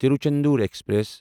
Tiruchendur express